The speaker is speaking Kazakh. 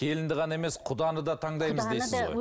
келінді ғана емес құданы да таңдаймыз дейіз ғой